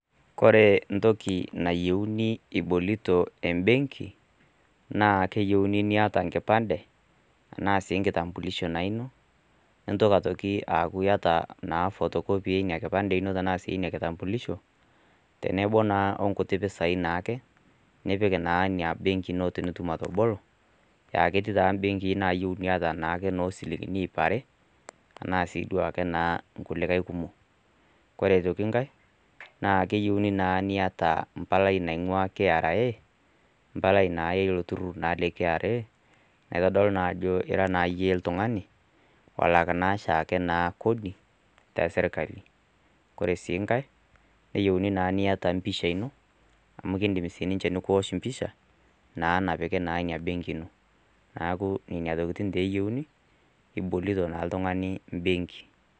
Ore entoki nayieuni eboloto benki naa keyieuni niata enkipande enaa sii enkitambulisho eno nintoki aku eyata photocopy enkipande eno tenebo oo nkuti pisai naa ake nipik ena benki ino tenitum atabolo aa ketii benkii nayieu niata njilingini yio are ena sii adui ake nkulie kumok ore enkae naa keyieuni nitaa embalai naingua KRA empalai naa elo turur lee KRA naitodolu naa Ajo era oshiake eyie oltung'ani olaka oshiake Kodi tee sirkali ore sii enkae keyieuni niata empisha eno amu kidim ninche nikiwosh empisha naa napiki ena benki eno neeku enena tokitin naa keyieuni ebolito naa oltung'ani benki